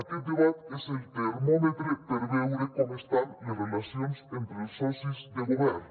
aquest debat és el termòmetre per veure com estan les relacions entre els socis de govern